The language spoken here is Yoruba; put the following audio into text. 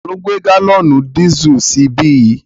Ta ló gbé gálọ̀nì dísù sí ibí yìí?